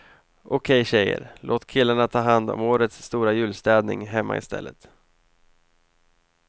Okej tjejer, låt killarna ta hand om årets stora julstädning hemma i stället.